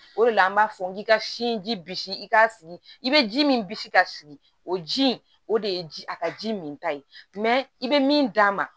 O de la an b'a fɔ n k'i ka sinji bisi i k'a sigi i bɛ ji min bisigi k'a sigi o ji in o de ye ji a ka ji min ta ye i bɛ min d'a ma